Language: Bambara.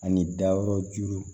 Ani dayɔrɔjuru